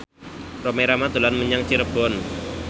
Rhoma Irama dolan menyang Cirebon